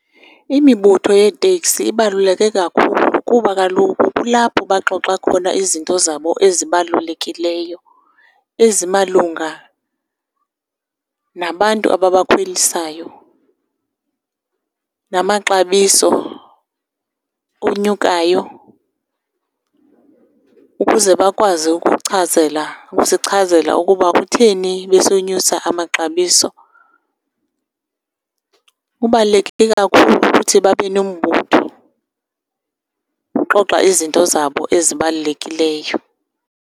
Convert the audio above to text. Imibutho yeeteksi ibaluleke kakhulu kuba kaloku kulapho baxoxa khona izinto zabo ezibalulekileyo, ezimalunga nabantu ababakhwelisayo, namaxabiso onyukayo ukuze bakwazi ukuchazela, ukusichazela ukuba kutheni besonyusa amaxabiso. Kubaluleke kakhulu ukuthi babenombutho ukuxoxa izinto zabo ezibalulekileyo.